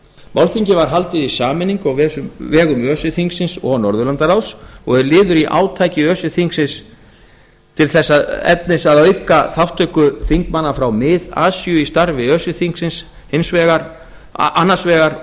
málþingið var haldið í sameiningu á vegum öse þingsins og norðurlandaráðs og er liður í átaki öse þingsins þess efnis að auka þátttöku þingmanna frá mið asíu í starfi öse þingsins annars vegar og